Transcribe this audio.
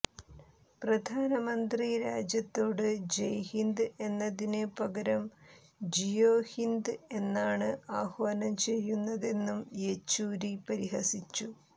പ്രധാനമന്ത്രി രാജ്യത്തോട് ജയ് ഹിന്ദ് എന്നതിന് പകരം ജിയോ ഹിന്ദ് എന്നാണ് ആഹ്വാനം ചെയ്യുന്നതെന്നും യെച്ചൂരി പരിഹസിച്ചു